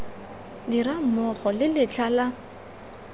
dirang mmogo le letlha la